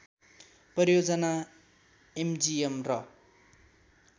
परियोजना एमजिएम र